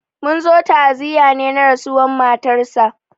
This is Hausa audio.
Munzo ta'aziya ne na rasuwan matar sa